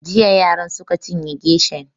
Jiya yaran suka cinye geshan